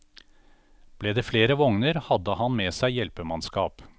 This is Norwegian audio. Ble det flere vogner, hadde han med seg hjelpemannskap.